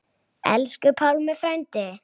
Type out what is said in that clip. Elsku Pálmi frændi.